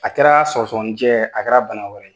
A kɛra sɔgɔsɔgɔnijɛ ye a kɛra bana wɛrɛ ye.